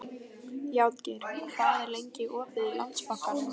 Játgeir, hvað er lengi opið í Landsbankanum?